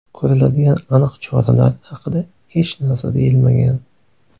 Ko‘riladigan aniq choralar haqida hech narsa deyilmagan.